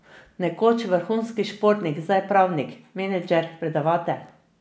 Nekoč vrhunski športnik, zdaj pravnik, menedžer, predavatelj.